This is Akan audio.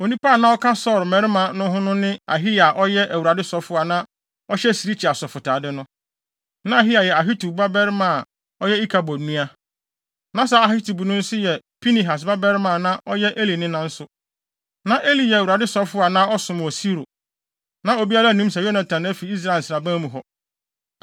(Onipa a na ɔka Saulo mmarima no ho no ne Ahiya a ɔyɛ Awurade sɔfo a na ɔhyɛ sirikyi asɔfotade no. Na Ahiya yɛ Ahitub babarima a ɔyɛ Ikabod nua. Na saa Ahitub no nso yɛ Pinehas babarima a na ɔyɛ Eli nena nso. Na Eli yɛ Awurade sɔfo a na ɔsom wɔ Silo.) Na obiara nnim sɛ Yonatan afi Israel nsraban mu hɔ.